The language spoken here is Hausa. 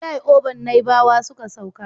Filai oban naibawa ya sauka